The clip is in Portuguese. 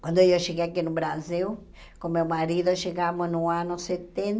Quando eu cheguei aqui no Brasil, com meu marido, chegamos no ano